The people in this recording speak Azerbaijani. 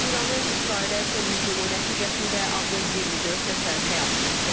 İranın İsrailə son hücumu nəticəsində azı 24 nəfər həyatını itirib.